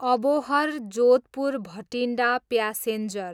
Abohar, Jodhpur Bathinda passenger